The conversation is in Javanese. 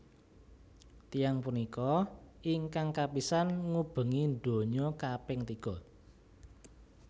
Tiyang punika ingkang kapisan ngubengi donya kaping tiga